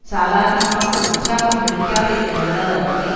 சாதாரணமாக உற்சாகம் அளிக்காத இந்த நிலவரத்தை